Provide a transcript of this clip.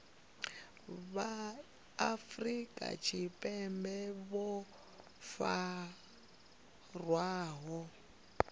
vha afrika tshipembe vho farwaho